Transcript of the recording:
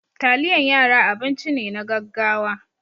Taliyan yara abinci ne na gaggawa.